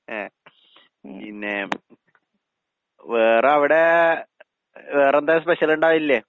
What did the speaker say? അതെയാ. പിന്നെ വേറവടെ വേറെന്താ സ്പെഷ്യൽ ഇണ്ടായില്ലേ?